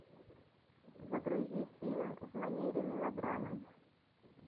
загрузи фильм в манере мелодрамы